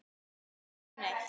Hann fær hana ekki neitt!